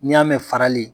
N'i y'a mɛn farali